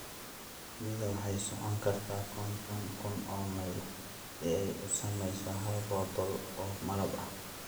Shinnidu waxay socon kartaa konton kun oo mayl si ay u samayso hal rodol oo malab ah.